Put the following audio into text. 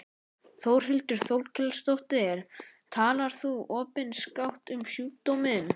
Þórhildur Þorkelsdóttir: Talar þú opinskátt um sjúkdóminn?